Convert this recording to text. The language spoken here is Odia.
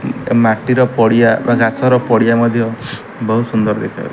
ଏ ମାଟି ର ପଡିଆ ବା ଘାସ ର ପଡିଆ ମଧ୍ୟ ବହୁତ ସୁନ୍ଦର ଦେଖା --